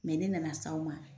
Mɛ ne nana s'aw ma